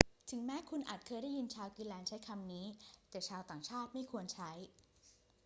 ถึงแม้คุณอาจเคยได้ยินชาวกรีนแลนด์ใช้คำนี้ แต่ชาวต่างชาติไม่ควรใช้